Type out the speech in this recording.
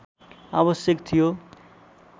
आवश्यक थियो